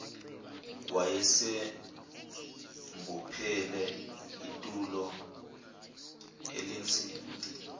wayesembophele itulo elinzima